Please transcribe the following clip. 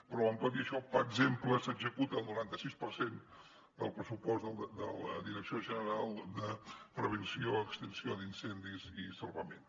però tot i això per exemple s’executa el noranta sis per cent del pressupost de la direcció general de prevenció extinció d’incendis i salvament